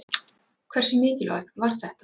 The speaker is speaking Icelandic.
Hversu mikilvægt var þetta?